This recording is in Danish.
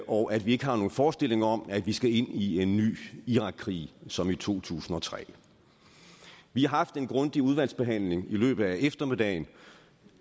og at vi ikke har nogen forestilling om at vi skal ind i en ny irakkrig som i to tusind og tre vi har haft en grundig udvalgsbehandling i løbet af eftermiddagen